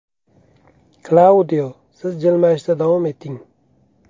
Klaudio, siz jilmayishda davom eting!